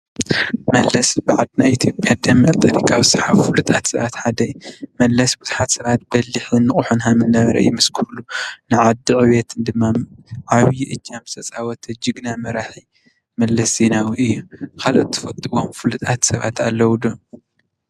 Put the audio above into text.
መለስ ብ ዓድና ኢትዮጵያ ደንበር ፖለቲካዊ ስራሕቲ ዝሰሓቡ ፍሉጣት ሰባት ሓደ እዩ። መለስ ብዙሓት ሰባት በሊሕን ንቁሕን ሓንጎል ከም ዝነበረ ይምስክርሉ። ንዓዲ ዕብየት ድማ ዓብዪ ዕጃም ዝተፃወተ ጅግና መራሒ መለስ ዜናዊ እዩ። ካልኦት እትፈልጥዎም ፍሉጣት ሰባት አለዉ ዶ?